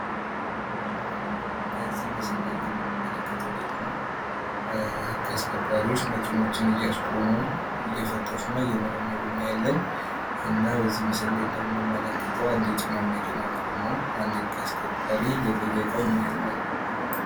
በዚህ ምስል ላይ የምንመለከተው ደግሞ ህግ አስከባሪዎች መኪናዎችን እያስቆሙ እየፈተሹና እየመረመሩ እናያለን እና በዚህ ምስል ላይ እንደምንመለከተው አንድ የጭነት መኪና ቆሞ አንድ ህግ አስከባሪ እየጠየቀው እናያለን።